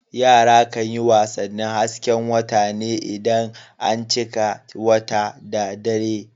Yara kan yi wasannin hasken wata ne idan an cika wata da dare.